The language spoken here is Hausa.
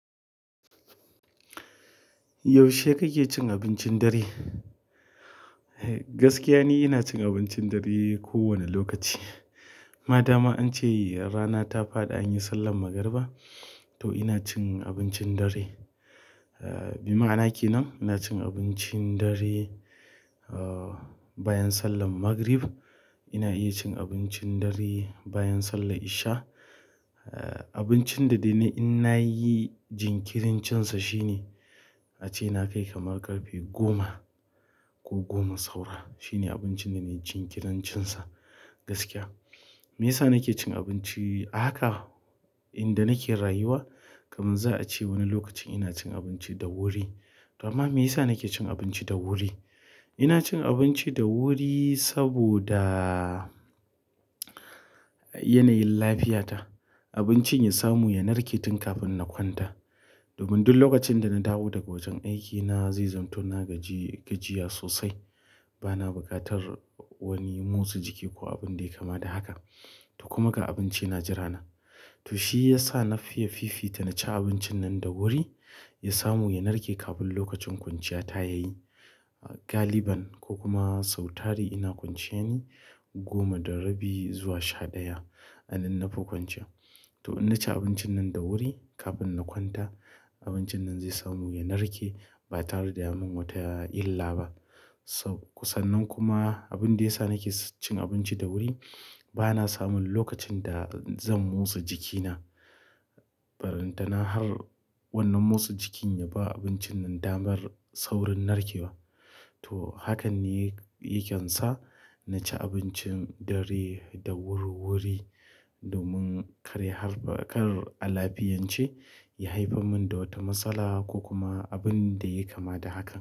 Yaushe kake cin abincin dare? Gaskiya ni ina cin abincin dare kowane lokaci. Ma dama an ce rana ta faɗi an yi sallar magariba, to ina cin abincin dare. Eh, bi ma'ana ke nan, ina cin abincin dare, ah, bayan sallar magrib. Ina iya cin abincin dare bayan sallar isha. Abincin da dai ni in nayi jinkirincinsa shine, ace na kai kamar ƙarfe goma ko goma saura. Shine abincin da nayi jinkirincinsa gaskiya. Me yasa nake cin abinci a haka inda nake rayuwa? Kamun za a ce wani lokacin ina cin abinci da wuri to amma me yasa nake cin abinci da wuri inacin abinci dawuri saboda yanayin lafiya ta abincin ya samu ya narke tun kafin na kwanta domin duk lokacin da na dawo daga wajen aikina zai zamto na gaji, gajiya sosai. Bana buƙatar wani motsa jiki ko abin da yayi kama da haka. To kuma ga abinci na jira na. To shiyasa nafiye na fifita naci abincin nan dawuri yasamu yanarke kafin lokacin kwanciya ta yayi. Galiban ko kuma sautari ina kwanciya ne goma da rabi zuwa sha ɗaya. Anan na fi kwanciya. To in na ci abincin nan da wuri kafin na kwanta, abincin nan zai samu ya narke ba tare da ya min wata illa ba. To- kusan nan kuma abin da ya sa nake cin abinci da wuri bana samun lokacin da zan motsa jikina. Ballan tana har wannan motsa jikin ya ba abincin nan damar saurin narkewa. To hakan ne yake sa na ci abincin dare da wuri wuri domin kare har ba-- kar alafiyance ya haife min da wata matsala ko kuma abin da yai kama da hakan.